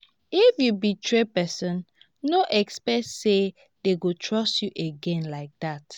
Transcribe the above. if you betray person no expect say dem go trust you again like that